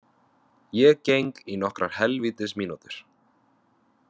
Ég geng í nokkrar hel vítis mínútur.